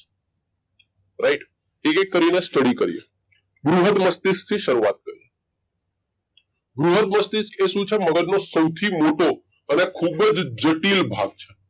Right એક એક કરીને study કરીએ બૃહદમસ્તિષ્કથી શરૂઆત કરીએ બૃહદ મસ્તિષ્ક એ શું છે મગજનો સૌથી મોટો અને ખૂબ જ જટિલ ભાગ છે